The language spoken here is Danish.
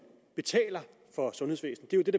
betaler for sundhedsvæsenet